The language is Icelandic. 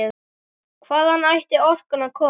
Hvaðan ætti orkan að koma?